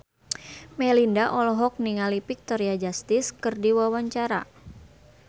Melinda olohok ningali Victoria Justice keur diwawancara